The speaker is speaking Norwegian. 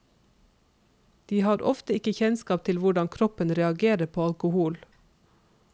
De har ofte ikke kjennskap til hvordan kroppen reagerer på alkohol.